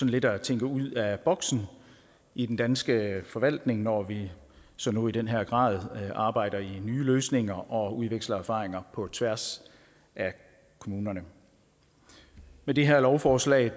lidt at tænke ud af boksen i den danske forvaltning når vi som nu i den her grad arbejder med nye løsninger og udveksler erfaringer på tværs af kommunerne med det her lovforslag